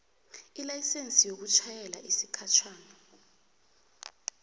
ilayisense yokutjhayela yesikhatjhana